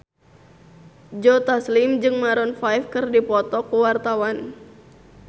Joe Taslim jeung Maroon 5 keur dipoto ku wartawan